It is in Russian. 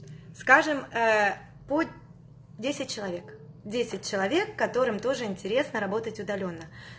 скажем путь десять человек десять человек которым тоже интересно работать удалённо